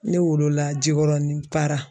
Ne wolola Jikɔrɔni Para